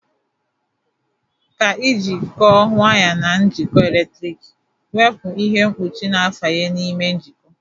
Ka ijikọ waya na njikọ eletriki, wepụ ihe mkpuchi na fanye n'ime njikọ.